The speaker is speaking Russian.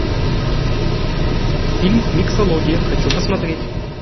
фильм миксология хочу посмотреть